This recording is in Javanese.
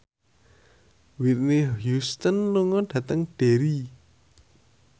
Whitney Houston lunga dhateng Derry